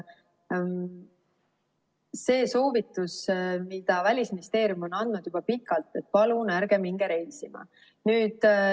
On soovitus, mida Välisministeerium on andnud juba pikalt, et palun ärge minge reisima.